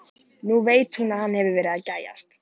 Nú veit hún að hann hefur verið að gægjast.